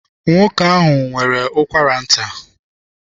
Nwoke ahụ nwere ụkwara nta.